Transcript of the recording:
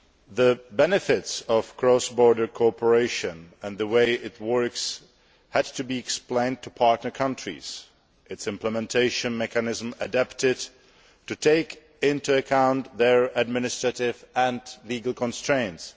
The benefits of cross border cooperation and the way it works had to be explained to partner countries and its implementation mechanisms adapted to take into account their administrative and legal constraints.